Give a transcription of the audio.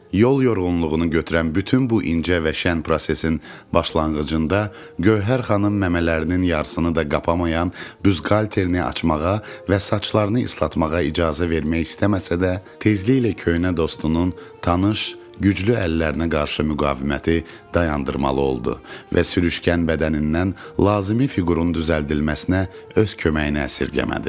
Yol yorğunluğunu götürən bütün bu incə və şən prosesin başlanğıcında Gövhər xanım məmələrinin yarısını da kapayan büsqalterini açmağa və saçlarını islatmağa icazə vermək istəməsə də, tezliklə köhnə dostunun tanış, güclü əllərinə qarşı müqaviməti dayandırmalı oldu və sürüşkən bədənindən lazımi fiqurun düzəldilməsinə öz köməyini əsirgəmədi.